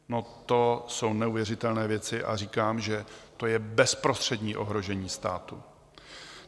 No, to jsou neuvěřitelné věci a říkám, že to je bezprostřední ohrožení státu.